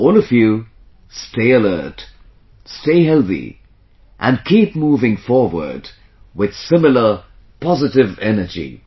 All of you stay alert, stay healthy and keep moving forward with similar positive energy